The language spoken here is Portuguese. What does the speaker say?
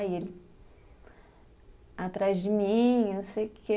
Aí ele, atrás de mim, não sei o quê